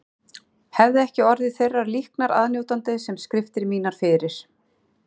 Hefði ég ekki orðið þeirrar líknar aðnjótandi sem skriftir mínar fyrir